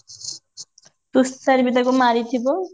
ତୁଷାର ବି ତାକୁ ମାରିଥିବ